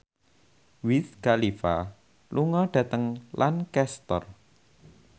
Wiz Khalifa lunga dhateng Lancaster